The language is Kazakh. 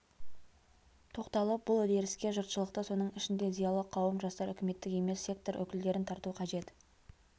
тоқталып бұл үдеріске жұртшылықты соның ішінде зиялы қауым жастар үкіметтік емес сектор өкілдерін тарту қажет